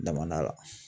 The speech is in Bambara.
Damanda la